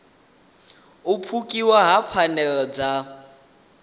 u pfukiwa ha pfanelo dza